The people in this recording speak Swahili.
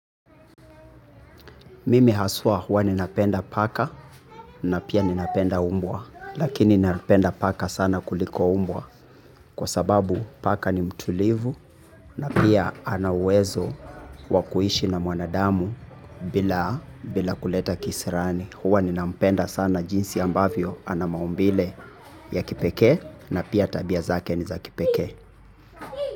Mimi haswa huwa ninapenda paka na pia ninapenda mbwa. Lakini ninapenda paka sana kuliko mbwa kwa sababu paka ni mtulivu na pia ana uwezo wa kuishi na mwanadamu bila kuleta kisirani. Huwa ninampenda sana jinsi ambavyo ana maumbile ya kipekee na pia tabia zake ni za kipekee.